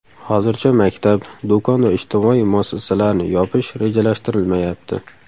Hozircha maktab, do‘kon va ijtimoiy muassasalarni yopish rejalashtirilmayapti.